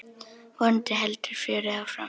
Vonandi heldur fjörið áfram.